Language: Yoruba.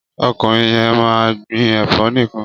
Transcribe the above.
Ọkùnrin yẹn máa ń gbin ẹ̀fọ́ nìkan.